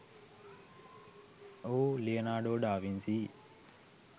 ඔහු Leonardo da Vinci